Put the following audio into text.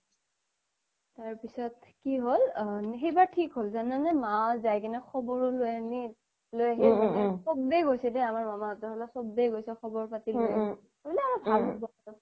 তাৰ পিছ্ত কি হ্'ল সেইবাৰ থিক হ্'ল জানানে মা জাই কিনে খ্বৰও লই আনিল লই আহিল মানে চ্বে গৈছে দে আমাৰ মামা হতৰ ফালৰ চ্বে গৈছে খ্বৰ পাতি